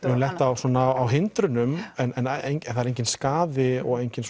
höfum lent á svona hindrunum en enginn skaði og enginn